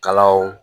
Kalaw